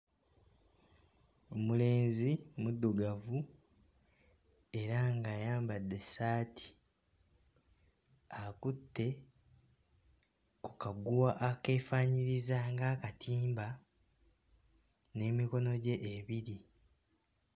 Omulenzi muddugavu era ng'ayambadde essaati akutte ku kaguwa akeefaanyiriza nga akatimba n'emikono gye ebiri.